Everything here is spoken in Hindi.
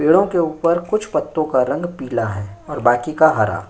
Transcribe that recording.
पेड़ों के ऊपर कुछ पत्तों का रंग पीला है और बाकी का हरा।